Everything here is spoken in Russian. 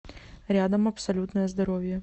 рядом абсолютное здоровье